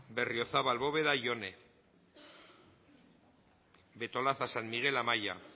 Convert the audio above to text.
berriozabal bóveda jone betolaza san miguel amaia